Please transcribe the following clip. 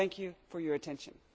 I thank you for your attention.